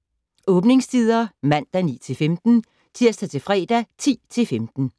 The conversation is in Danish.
Åbningstider: Mandag: 9-15 Tirsdag - fredag: 10-15